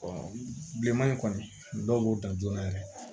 bilenman in kɔni dɔw b'o dan joona yɛrɛ